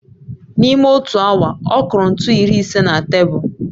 N'ime otu awa, ọ kụrụ ntu iri ise na tebụl